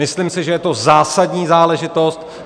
Myslím si, že je to zásadní záležitost.